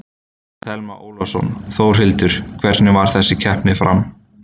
Telma Ólafsson: Þórhildur, hvernig fer þessi keppni fram?